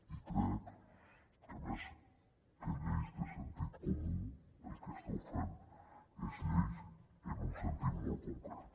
i crec que més que lleis de sentit comú el que esteu fent són lleis en un sentit molt concret